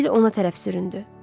Sibil ona tərəf süründü.